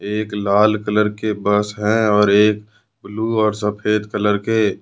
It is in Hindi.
एक लाल कलर के बस है और एक ब्लू और सफेद कलर के।